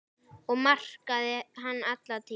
Það markaði hann alla tíð.